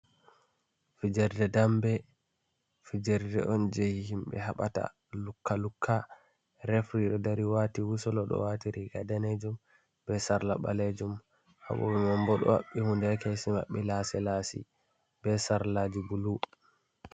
Fijerde dambe fijerde on je himɓe haɓata lukka lukka refri ɗon dari wati wusul ɗo wati riga danejum be sarla ɓalejum ha boɓe man bo do haɓɓi hunde ha kesi maɓɓe lasi lasi be sarlaji bulu.